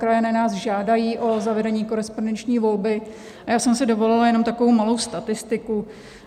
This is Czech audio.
Krajané nás žádají o zavedení korespondenční volby a já jsem si dovolila jenom takovou malou statistiku.